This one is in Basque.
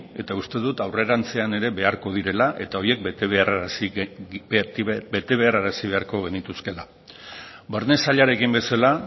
eta uste dut aurrerantzean ere beharko direla eta horiek bete beharrarazi beharko genituzkeela barne sailarekin bezala